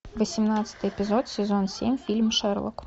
восемнадцатый эпизод сезон семь фильм шерлок